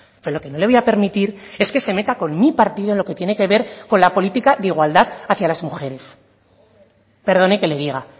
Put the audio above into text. pero lo que no le voy a permitir es que se meta con mí partido en lo que tiene que ver con la política de igualdad hacia las mujeres perdone que le diga